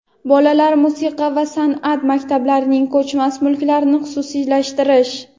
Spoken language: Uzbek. bolalar musiqa va sanʼat maktablarining ko‘chmas mulklarini xususiylashtirish;.